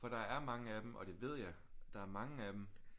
For der er mange af dem og det ved jeg der er mange af dem